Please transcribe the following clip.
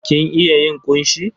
Kin iya yin ƙunshi?